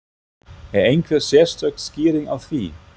Er einhver sérstök skýring á því?